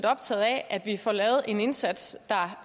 optaget af at vi får lavet en indsats der